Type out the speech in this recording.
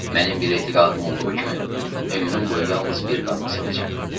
Mənim bir etiqadım olduğu kimi, ömrüm boyu yalnız bir qadın sevəcəm.